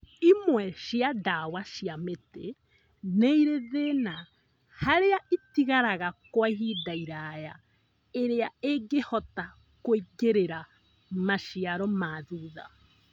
Imwe cia ndawa cia mĩtĩ nĩirĩ thĩna harĩa ĩtigaraga Kwa ihinda iraya iria ĩngĩhota kũingĩrĩra maciaro ma thutha